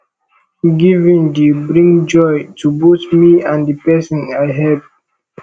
giving dey bring joy to both me and the person i help